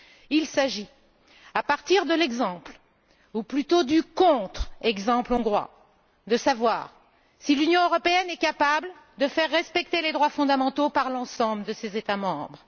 Il s'agit, à partir de l'exemple ou plutôt du contre exemple hongrois, de savoir si l'Union européenne est capable de faire respecter les droits fondamentaux par l'ensemble de ses États membres.